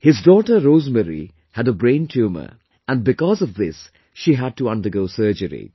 His daughter Rosemary had a brain tumour and because of this she had to undergo surgery